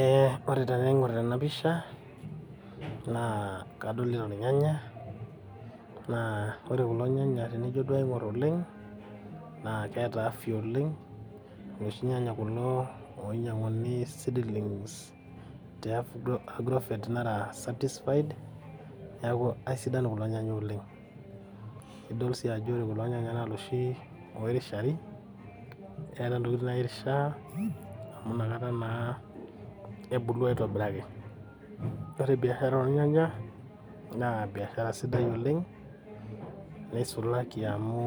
Ee ore tenaingor tenapisha naa kadolita irnyanya naa ore kulo nyanya tenijo duo aingor oleng naa keeta afya oleng , iloshi lala kulo ainyianguni sidan teagrovet naracertfified niaku aisidan kulo nyanya oleng , nidol sii ajo ore kulo nyanya naa loshi oirishari keeta ntokitin nairishiaa amu inakata naa ebulu aitobiraki . Ore biashara ornyanya naa biashara sidai oleng neisulaki amu